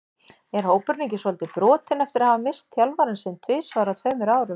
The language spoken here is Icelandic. Er hópurinn ekki svolítið brotinn eftir að hafa misst þjálfarann sinn tvisvar á tveimur árum?